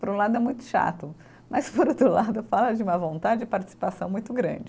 Por um lado é muito chato, mas por outro lado fala de uma vontade e participação muito grande.